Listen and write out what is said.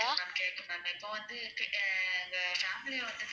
Hello இப்போ கேக்குது ma'am இப்ப வந்து .